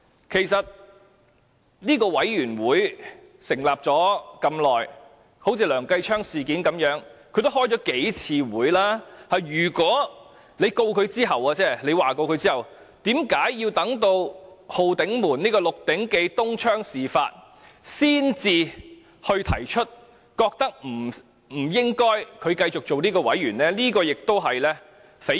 其實，這個專責委員會成立了一段時間，就梁繼昌議員的事件也曾召開數次會議，如果他要控告他及譴責他，為何要等到"浩鼎門"、"6 鼎記"東窗事發才指出，他不應繼續擔任專責委員會員委員？